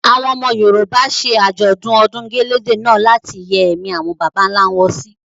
Àwọn ọmọ Yorùbá ṣe Àjọ̀dún ọdún gẹ̀lẹ̀dẹ̀ náà láti yẹ́ ẹ̀mí àwọn bàbà ńlá wọn sí.